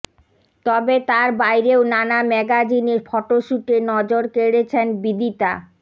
তবে তার বাইরেও নানা ম্যাগাজিনে ফটোশ্যুটে নজর কেড়েছেন বিদিতা